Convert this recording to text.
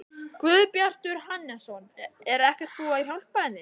Guðbjartur Hannesson: Er ekkert búið að hjálpa henni?